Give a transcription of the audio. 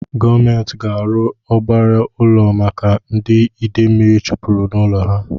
Gọọmenti ga-arụ ọgbara ụlọ maka ndị ide mmiri chụpụrụ n'ụlọ ha